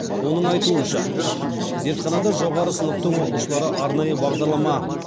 оның айтуынша зертханада жоғары сыныптың оқушылары арнайы бағдарлама